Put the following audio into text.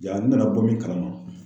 Ja n nana bɔ min kalama.